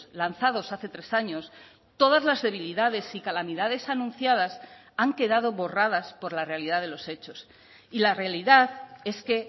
lanzados hace tres años todas las debilidades y calamidades anunciadas han quedado borradas por la realidad de los hechos y la realidad es que